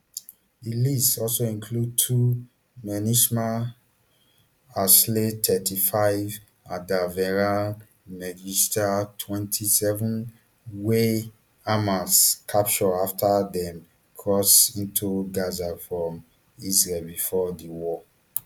di list also includes two menhisham alsayed thirty-five andavera mengistu twenty-seven wey hamas capture afta dem cross into gaza from israel bifor di war